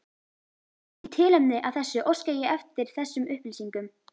Í tilefni af þessu óska ég eftir þessum upplýsingum